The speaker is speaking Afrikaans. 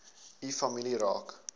u familie raak